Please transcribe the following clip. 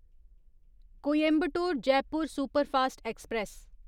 Coimbatore Jaipur superfast express